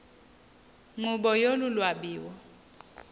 nkqubo yolu lwabiwo